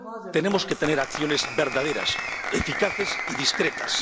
Tenemos que tener acciones verdaderas, eficaces y discretas.